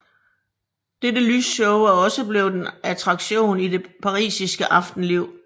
Dette lysshow er også blevet en attraktion i det parisiske aftenliv